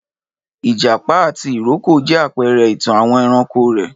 Ìjàpá àti ìrókò jẹ́ àpẹrẹ ìtàn àwọn ẹranko rèé